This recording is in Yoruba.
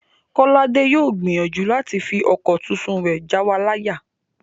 Kọ́ládé yóò gbìyànjú láti fi ọkọ̀ tuntun rẹ̀ jáwa láyà